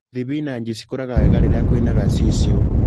Thibinanji cikũraga wega rĩra kwĩna gaciciũ.